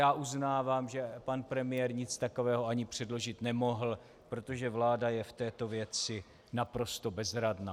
Já uznávám, že pan premiér nic takového ani předložit nemohl, protože vláda je v této věci naprosto bezradná.